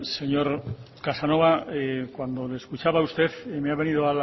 señor casanova cuando le escuchaba a usted me ha venido